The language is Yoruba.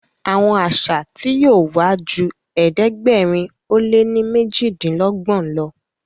Àwọn àṣà tí yóò wá jù ẹ̀ẹ́dẹ̀gbẹ̀rin o lẹ ní mejidinlogbon ló.